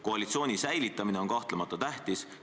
Koalitsiooni säilitamine on kahtlemata tähtis.